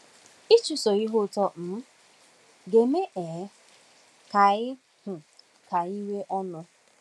Ịchụso Ihe Uto um Ga-eme um Ka Anyị um Ka Anyị Nwee Ọṅụ?